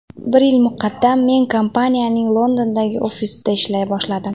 Bir yil muqaddam men kompaniyaning Londondagi ofisida ishlay boshladim.